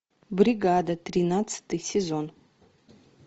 бригада тринадцатый сезон